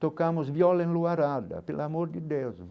Tocamos viola em Luarada, pelo amor de Deus.